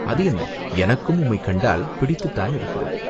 "அது என்ன?" "எனக்கும் உம்மைக் கண்டால் பிடித்துத்தான் இருக்கிறது.